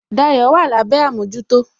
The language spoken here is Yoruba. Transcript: Dayo wà lábé àmójútó